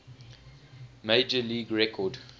major league record